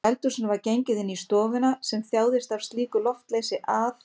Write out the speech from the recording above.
Úr eldhúsinu var gengið inn í stofuna sem þjáðist af slíku loftleysi að